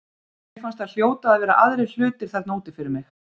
Mér fannst það hljóta að vera aðrir hlutir þarna úti fyrir mig.